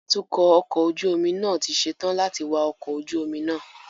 Atukọ ọkọ ojú omi náà ti ṣe tán láti wạ ọkọ̀ ojú omi náà